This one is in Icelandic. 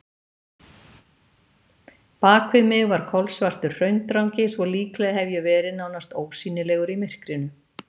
Bakvið mig var kolsvartur hraundrangi svo líklega hef ég verið nánast ósýnilegur í myrkrinu.